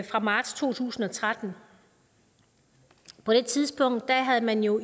fra marts to tusind og tretten på det tidspunkt havde man jo